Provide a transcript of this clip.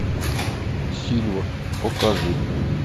сильва покажи